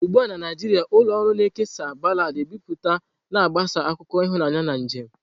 Ugbu a na Naijiria, ụlọ ọrụ nka na-ekesa baladi ebipụta, na-agbasa akụkọ ịhụnanya na njem.